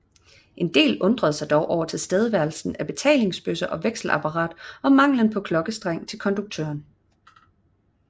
En del undrede sig dog over tilstedeværelsen af betalingsbøsser og vekselapparat og manglen på klokkestreng til konduktøren